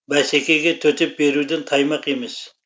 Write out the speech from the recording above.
бәсекеге төтеп беруден таймақ емес